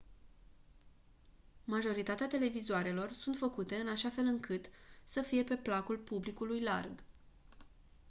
majoritatea televizoarelor sunt făcute în așa fel încât să fie pe placul publicului larg